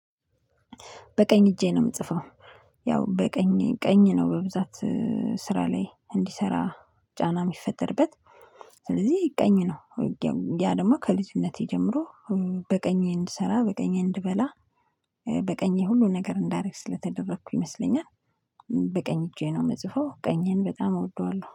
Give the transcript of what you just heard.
በቀኝ እጄ ነው የምጽፈው። ያው በቀኝ ቀኝ ነው በብዛት ስራ ላይ እንዲሰራ ጫና የሚፈጠርበት ስለዚህ ቀኝ ነው። ያ ደግሞ ከልጅነቴ ጀምሮ በቀኝ እንድሰራ በቀኜ እንድበላ በቀኜ ሁሉ ነገር እንዳደረግ ስለተደረኩ ይመስለኛል። በቀኝ እጄ ነው የምጽፈው ቀኝን በጣም እወደዋለሁ